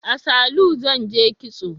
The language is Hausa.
A salu zan je kitso